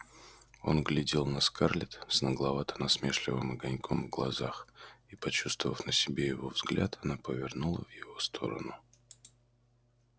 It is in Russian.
он глядел на скарлетт с нагловато-насмешливым огоньком в глазах и почувствовав на себе его взгляд она повернула в его сторону